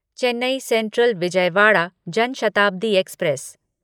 Chennai central Vijayawada Jan Shatabdi express